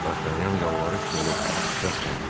Dartanyan yalvarış dolu səslə dedi.